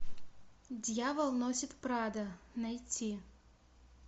дьявол носит прадо найти